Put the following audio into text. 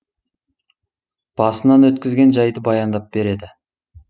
басынан өткізген жайды баяндап береді